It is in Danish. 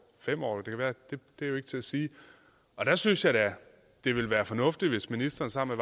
fem år det er jo ikke til at sige der synes jeg da det ville være fornuftigt hvis ministeren sammen